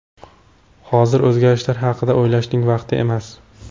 Hozir o‘zgarishlar haqida o‘ylashning vaqti emas.